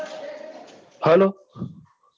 hello hello